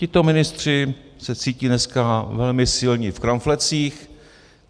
Tito ministři se cítí dneska velmi silní v kramflecích.